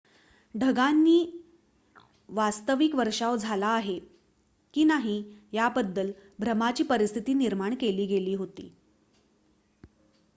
ढगांनी वास्तविक वर्षाव झाला आहे की नाही याबद्दल भ्रमाची परिस्थिती निर्माण केली होती